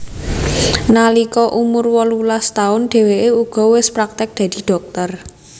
Nalika umur wolulas taun dheweke uga wis praktik dadi dhokter